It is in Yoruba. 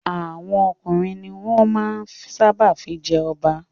Àwọn ọkùnrin ni wọ́n máa ń sábà fi jẹ ọba.